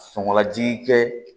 Sɔngɔ jigin kɛ